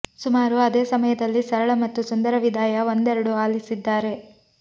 ಸುಮಾರು ಅದೇ ಸಮಯದಲ್ಲಿ ಸರಳ ಮತ್ತು ಸುಂದರ ವಿದಾಯ ಒಂದೆರಡು ಆಲಿಸಿದ್ದಾರೆ